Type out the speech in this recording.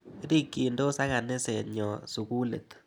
Rikchindos ak kaniset nyo sukulit.